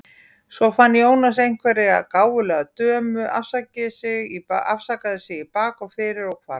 Svo fann Jónas einhverja gáfulega dömu, afsakaði sig í bak og fyrir og hvarf.